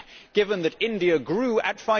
Given that India grew at